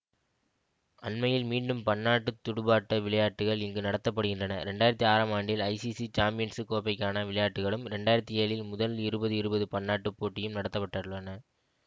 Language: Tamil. அண்மையில் மீண்டும் பன்னாட்டு துடுப்பாட்ட விளையாட்டுக்கள் இங்கு நடத்த படுகின்றன இரண்டு ஆயிரத்தி ஆறாம் ஆண்டில் ஐசிசி சாம்பியன்சு கோப்பைக்கான விளையாட்டுக்களும் இரண்டு ஆயிரத்தி ஏழில் முதல் இருபது இருபது பன்னாட்டு போட்டியும் நடத்த பட்டுள்ளன